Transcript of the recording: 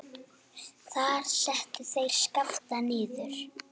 Þar settu þeir Skapta niður.